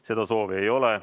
Seda soovi ei ole.